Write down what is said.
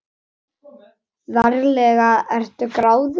Ferlega ertu gráðug!